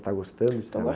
Está gostando de